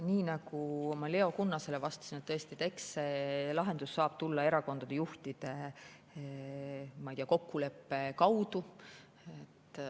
Nii nagu ma Leo Kunnasele vastasin: tõesti, see lahendus saab tulla erakondade juhtide kokkuleppe kaudu.